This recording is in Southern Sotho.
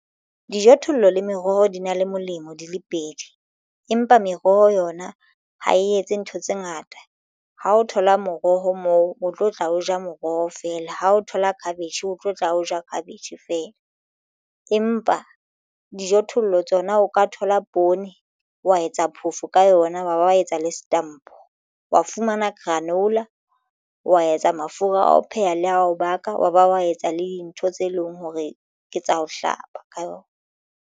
Dijothollo le meroho di na le molemo di le pedi empa meroho yona ha e etse ntho tse ngata. Ha o thola moroho moo o tlo tla o ja moroho feela ha o thola cabbage o tlo tla o ja cabbage feela, empa dijothollo tsona o ka thola poone wa etsa phoofo ka yona wa ba wa etsa le setampo wa fumana canola wa etsa mafura a ho pheha le ao baka wa ba wa etsa le dintho tse leng hore ke tsa ho hlapa ka yona.